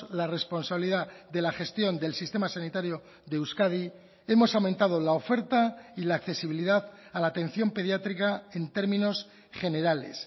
la responsabilidad de la gestión del sistema sanitario de euskadi hemos aumentado la oferta y la accesibilidad a la atención pediátrica en términos generales